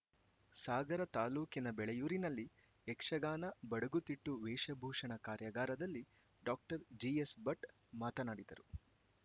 ಸಾಗರ ತಾಲೂಕಿನ ಬೆಳೆಯೂರಿನಲ್ಲಿ ಯಕ್ಷಗಾನ ಬಡಗುತಿಟ್ಟು ವೇಷಭೂಷಣ ಕಾರ್ಯಾಗಾರದಲ್ಲಿ ಡಾಕ್ಟರ್ ಜಿ ಎಸ್‌ಭಟ್‌ ಮಾತನಾಡಿದರು